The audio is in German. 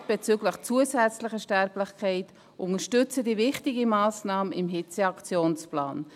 Die Resultate bezüglich zusätzlicher Sterblichkeit unterstützen diese wichtige Massnahme im Hitzeaktionsplan.